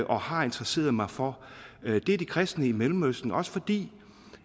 og har interesseret mig for er de kristne i mellemøsten også fordi